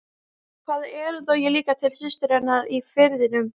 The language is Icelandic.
Hvaða erindi á ég líka til systur hennar í Firðinum?